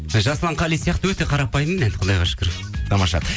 жасұлан қали сияқты өте қарапайыммын мен құдайға шүкір тамаша